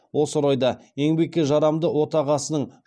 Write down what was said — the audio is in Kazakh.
осы орайда еңбекке жарамды отағасының